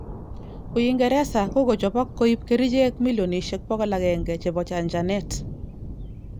Uigereza kokochobok koib kericheg millionishek 100 chebo chajanet.